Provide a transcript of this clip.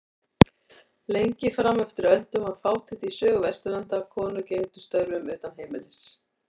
Lengi fram eftir öldum var fátítt í sögu Vesturlanda að konur gegndu störfum utan heimilis.